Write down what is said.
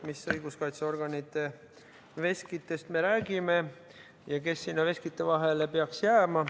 Mis õiguskaitseorganite veskitest me räägime ja kes sinna veskite vahele peaks jääma?